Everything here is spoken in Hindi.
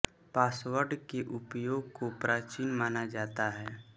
पासवर्ड के उपयोग को प्राचीन माना जाता है